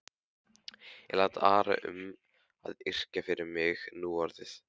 Ég læt aðra um að yrkja fyrir mig núorðið.